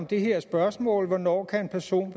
det her spørgsmål nemlig hvornår en person